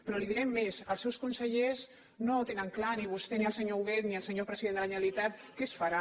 però li direm més els seus consellers no ho tenen clar ni vostè ni el senyor hu·guet ni el senyor president de la generalitat sobre què es farà